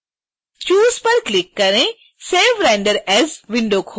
choose पर click करें save render as window खोलें